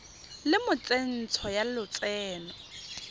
le mo tsentsho ya lotseno